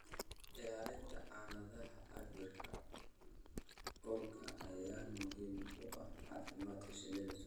Ilaalinta aaladaha cabbira huurka ayaa muhiim u ah caafimaadka shinnida.